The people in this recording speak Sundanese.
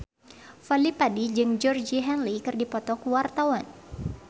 Fadly Padi jeung Georgie Henley keur dipoto ku wartawan